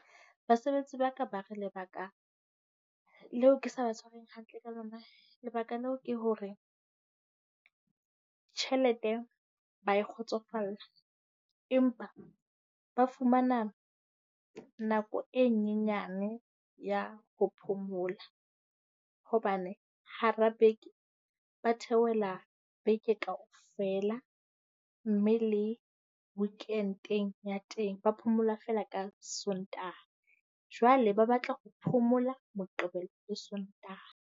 Basebetsi ba ka ba re lebaka leo ke sa ba tshwareng hantle ka lona lebaka leo ke hore tjhelete ba e kgotsofalla, empa ba fumana nako e nyenyane ya ho phomola, hobane hara beke ba theohela beke kaofela. Mme le weekend-eng ya teng, ba phomola feela ka Sontaha. Jwale ba batla ho phomola Moqebelo le Sontaha.